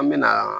An me na